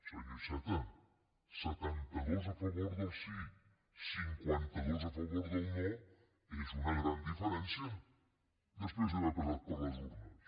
senyor iceta setantados a favor del sí cinquantados a favor del no és una gran diferència després d’haver passat per les urnes